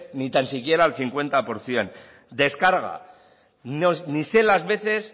ni tan siquiera al cincuenta por ciento descarga ni sé las veces